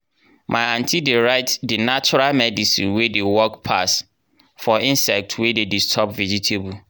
my aunty dey write di natural medicine wey dey work pass for insect wey dey disturb vegetable.